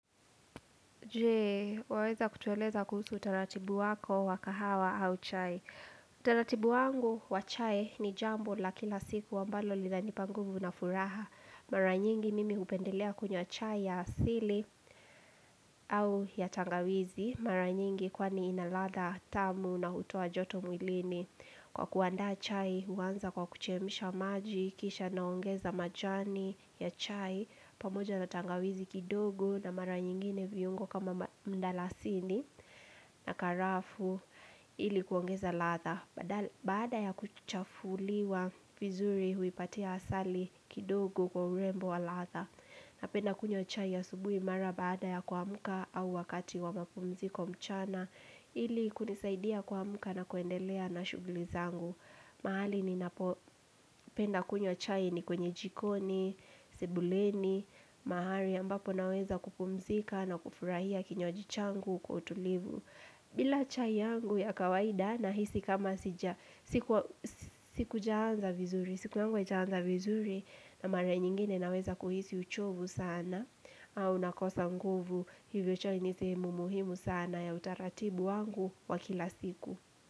Jee, waweza kutueleza kuhusu utaratibu wako wakahawa au chai. Utaratibu wangu wa chai ni jambo la kila siku ambalo lina nipangu vuna furaha. Maranyingi mimi hupendelea kunywa chai ya asili au ya tangawizi. Maranyingi kwani inaladha tamu na hutoa joto mwilini. Kwa kuandaa chai, huanza kwa kuchemsha maji, kisha naongeza majani ya chai, pamoja na tangawizi kidogo na mara nyingine viungo kama mdalasini na karafu ili kuongeza ladha baada ya kuchafuliwa vizuri huipatia asali kidogo kwa urembo wa ladha na penda kunywa chai asubui mara baada ya kuamka au wakati wa mapumziko mchana ili kunisaidia kuamka na kuendelea na shuguli zangu mahali ni napo penda kunywa chai ni kwenye jikoni, sebuleni, mahali ambapo naweza kupumzika na kufurahia kinywaji changu kwa utulivu. Bila chai yangu ya kawaida na hisi kama sija, sikua siku jaanza vizuri, siku yangu haijaanza vizuri na mara nyingine naweza kuhisi uchovu sana au nakosa nguvu hivyo chai nisehemu muhimu sana ya utaratibu wangu wakila siku.